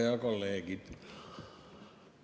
Head kolleegid!